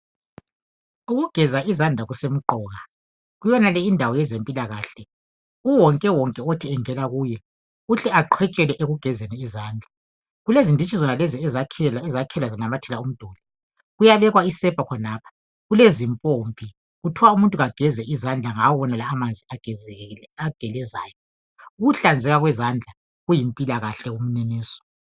Ukugeza izandla kusemgqoka kuyenale indawo yezempilakahle uwonke wonke othi engana kuyo uhle aqhwetshele ekugezeni izandla. Kulezinditshi zonalezi ezakhelwa zanamathela umduli, kuyabekwa isepa khonapha kulezimpompi, kuthiwa umuntu kageze izandla ngawo wonalawa agelezayo. Ukuhlanzela kwezandla kuyimpilakahle kominiso.